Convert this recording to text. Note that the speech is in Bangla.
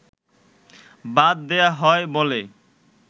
বাদ দেয়া হয় বলে